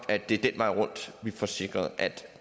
at det er den vej rundt vi får sikret at